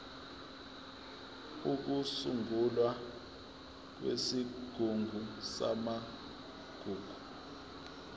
ukusungulwa kwesigungu samagugu